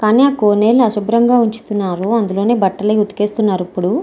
కానీ ఆ కోనేరుని అపరిశుభ్రంగా ఉంచుతున్నారు అందులోనే బట్టలు ఉతికేస్తున్నారు ఇప్పుడు.